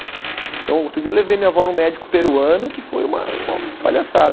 Então, outro dia eu levei minha avó num médico peruano, que foi uma uma palhaçada.